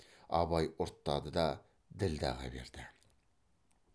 абай ұрттады да ділдәға берді